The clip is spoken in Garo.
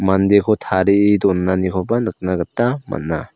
mandeko tarie donanikoba nikna gita man·a.